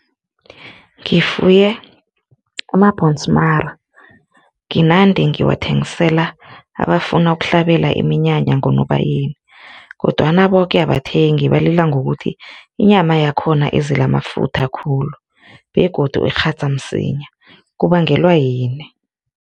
Ngifuye amabhonsmara nginande ngiwathengisela abafuna ukuhlabela iminyanya ngoNobayeni kodwana boke abathengi balila ngokuthi inyama yakhona izele amafutha khulu begodu ikghadza msinya, kubangelwa yini?